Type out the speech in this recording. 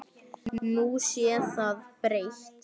Nú sé það breytt.